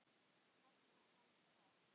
Nafn hans var